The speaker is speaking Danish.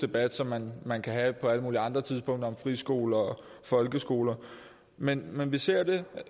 debat som man man kan have på alle mulige andre tidspunkter om friskoler og folkeskoler men men vi ser det